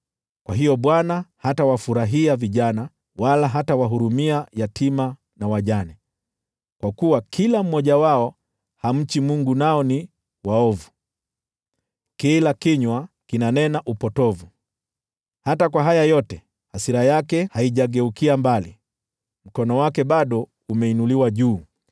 Kwa hiyo Bwana hatawafurahia vijana, wala hatawahurumia yatima na wajane, kwa kuwa kila mmoja wao hamchi Mungu, nao ni waovu, na kila kinywa kinanena upotovu. Hata kwa haya yote, hasira yake haijageukia mbali, mkono wake bado umeinuliwa juu.